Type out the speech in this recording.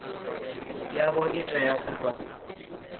yavho i tea u vha